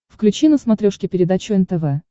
включи на смотрешке передачу нтв